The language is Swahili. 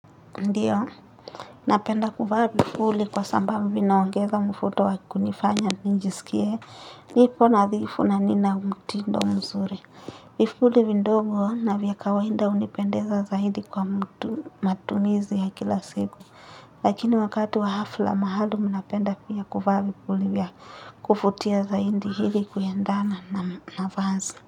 Ndiyo, napenda kuvaa vipuli kwa sambabu vinaongeza mfuto wakikunifanya nijisikie. Nipo nadhifu na nina mtindo mzuri. Vifuli vindogo na vya kawainda unipendeza zaidi kwa mtu matumizi ya kila siku. Lakini wakati wa hafla mahalum napenda pia kufaa vipuli vya kufutia zaidi hili kuyendana na vazi.